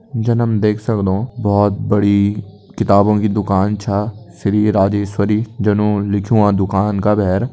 जन हम देख सक्दों बहुत बड़ी किताबो की दुकान छा श्री राजेस्वरी जन ऊन लिख्यूं दुकान का बहर।